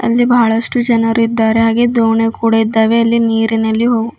ಅಲ್ಲಿ ಬಹಳಷ್ಟು ಜನರಿದ್ದಾರೆ ಹಾಗೆ ದೋಣಿ ಕೂಡ ಇದ್ದಾವೆ ಅಲ್ಲಿ ನೀರಿನಲ್ಲಿ ಹೊ--